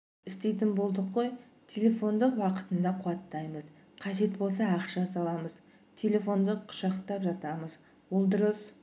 істейтін болдық қой телефонды уақытында қуаттаймыз қажет болса ақша саламыз телефонды құшақтап жатамыз ол дұрыс